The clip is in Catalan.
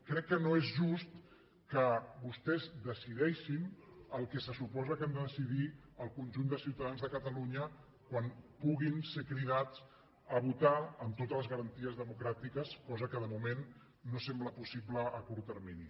crec que no és just que vostès decideixin el que se suposa que han de decidir el conjunt de ciutadans de catalunya quan puguin ser cridats a votar amb totes les garanties democràtiques cosa que de moment no sembla possible a curt termini